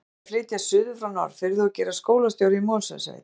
Hann var að flytjast suður frá Norðfirði og gerast skólastjóri í Mosfellssveit.